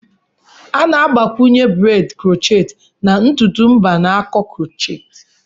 A na-agbakwunye braids crochet na ntutu mba na nko crochet.